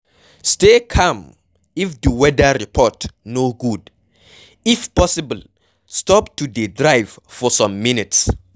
Stay calm if di weather report no good, if possible stop to dey drive for some minutes